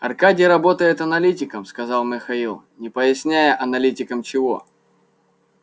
аркадий работает аналитиком сказал михаил не поясняя аналитиком чего